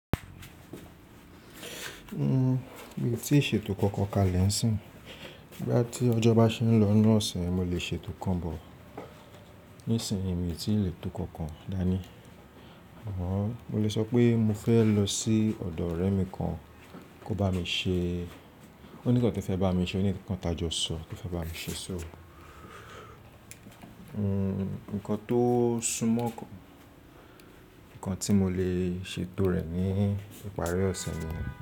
Mi ti se to kankan kálẹ́ ìsìn. Nígbà tí ọjọ́ bá ṣe n lọ́nù ọ̀se, mo lè ṣe to kan bọ̀. Nísìnyí mi ti lè to kankan dání. Mo lè sọ pé mo fẹ́ lọ sí ọ̀dọ̀ ọ̀rẹ́ mi kan kó bá mi ṣe, ó ní ǹkan tí ó fẹ́ bá mi ṣe, ó ní ǹkan tajọ sọ tó fẹ́ bá mi ṣe. Nǹkan tó súnmọ́ kan, ǹkan tí mo lè ṣe to rẹ̀ ní ìparí ọ̀se mi.